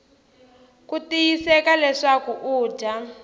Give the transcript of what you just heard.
ku tiyiseka leswaku u dya